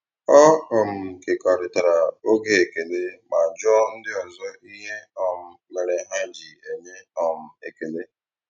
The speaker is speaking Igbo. Ọ um kekọrịtara oge ekele ma jụọ ndị ọzọ ihe um mere ha ji enye um ekele.